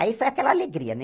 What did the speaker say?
Aí foi aquela alegria, né?